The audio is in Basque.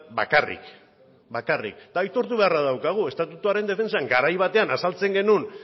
bakarrik bakarrik eta aitortu beharra daukagu estatutuaren defentsan garai batean azaltzen genuen